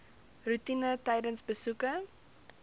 roetine tydens besoeke